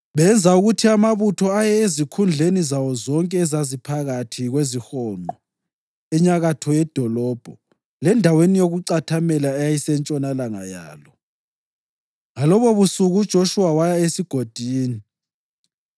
Benza ukuthi amabutho aye ezikhundleni zawo zonke ezaziphakathi kwezihonqo enyakatho yedolobho lendaweni yokucathamela eyayisentshonalanga yalo. Ngalobobusuku uJoshuwa waya esigodini.